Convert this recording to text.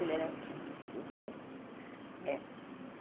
Ele era triste, meu pai. Eh